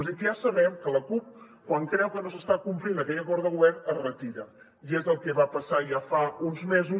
és a dir que ja sabem que la cup quan creu que no s’està complint aquell acord de govern es retira i és el que va passar ja fa uns mesos